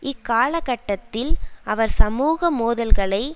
இக்காலக்கட்டத்தில் அவர் சமூக மோதல்களை